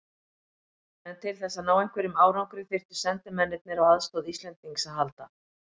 En til þess að ná einhverjum árangri þyrftu sendimennirnir á aðstoð Íslendings að halda.